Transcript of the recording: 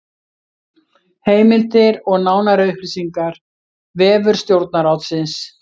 Heimildir og nánari upplýsingar: Vefur Stjórnarráðsins